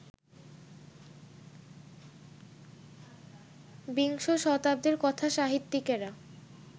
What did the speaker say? বিংশ শতাব্দীর কথাসাহিত্যিকেরা